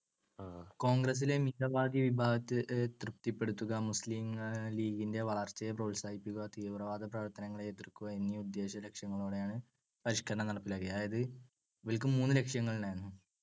കോൺഗ്രസ്സിലെ മിതവാദി വിഭാഗത്തെ തൃപ്തിപ്പെടുത്തുക, മുസ്ലീം ലീഗിന്റെ വളർച്ചയെ പ്രോത്സാഹിപ്പിക്കുക തീവ്രവാദപ്രവർത്തനങ്ങളെ എതിർക്കുക എന്നീ ഉദ്ദേശ്യലക്ഷ്യങ്ങളോടെയാണ് പരിഷ്‌ക്കരണം നടപ്പിലാക്കിയത്. അതായത് ഇവർക്ക് മൂന്ന് ലക്ഷ്യങ്ങളുണ്ടായിരുന്നു